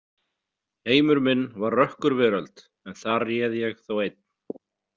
Heimur minn var rökkurveröld en þar réð ég þó einn.